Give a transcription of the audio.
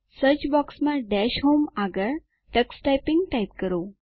search બૉક્સમાં dash home આગળ tux typing type કરો